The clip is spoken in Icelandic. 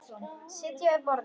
Sitja við borð